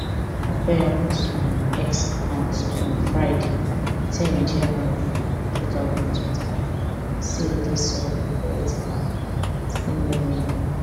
okoya post for im x account on friday ten january two thousand and twenty-five say e dey sorry for wetin happun as im no mean